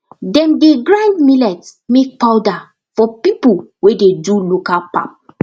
dem dey grind millet make powder for people wey dey do local pap